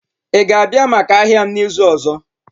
Ị ga-abịa maka ahịa m n'izu ọzọ?